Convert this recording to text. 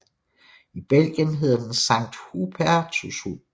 I Belgien hedder den Sankt Hubertushund